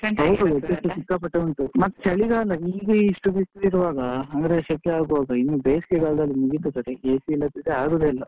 ಸಿಕ್ಕಾಪಟ್ಟೆ ಉಂಟು ಮತ್ತೆ ಚಳಿಗಾಲ ಈಗ ಇಷ್ಟು ಬಿಸ್ಲು ಇರ್ವಗ ಅಂದ್ರೆ ಶೆಕೆ ಆಗುವಾಗ ಇನ್ನೂ ಬೇಸ್ಗೆಕಾಲದಲ್ಲಿ ಮುಗೀತು ಕತೆ, AC ಇಲ್ಲದಿದ್ರೆ ಆಗುದೇ ಇಲ್ಲ.